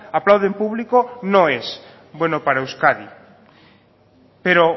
aplaude en público no es bueno para euskadi pero